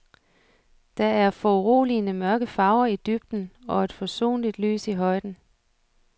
Der er foruroligende mørke farver i dybden og et forsonligt lys i højden.